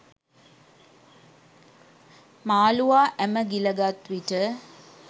මාළුවා ඇම ගිලගත්විට